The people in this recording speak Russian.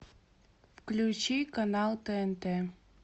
включи канал тнт